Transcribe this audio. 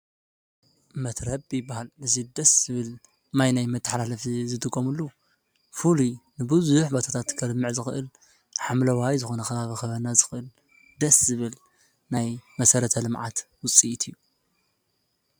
መትረብ ይበሃል። እዚ ደስ ዝብል ማይ መተሓላለፊ ዝጥቐምሉ ፍሉይ ብዙሕ ቦታታት ከልምዕ ዝኽእል ሓምለዋይ ዝኽነ ከባቢ ክበና ዝኽእል ደስ ዝብል ናይ መሰረተ ልምዓት ዉፅኢት እዩ ።